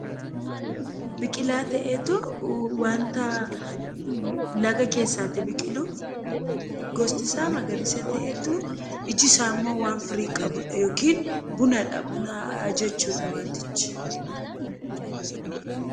Biqilaa ta'eetu wanta laga keessaa biqilu, gosti isaa magariisa ta'etu ijji isaammoo waan firii qabudha yookaan bunadha. Buna jechuudha wantichi.